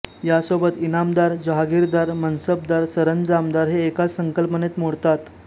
यासोबत इनामदार जहागिरदार मनसबदार सरंजामदार हे एकाच संकल्पनेत मोडतात